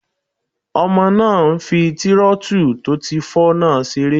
Ọmọ náà n fi tírótù tó ti fọ́ náà seré